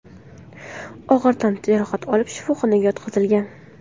og‘ir tan jarohati olib shifoxonaga yotqizilgan.